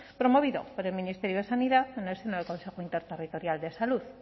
promovido por el ministerio de sanidad en el seno del consejo interterritorial de salud